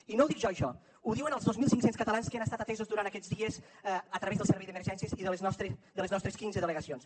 i no ho dic jo això ho diuen els dos mil cinc cents catalans que han estat atesos durant aquests dies a través del servei d’emergències i de les nostres quinze delegacions